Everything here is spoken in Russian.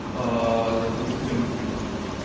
аа допустим